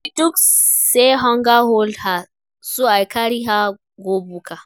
She tok sey hunger hold her so I carry her go buka.